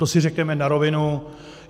To si řekněme na rovinu.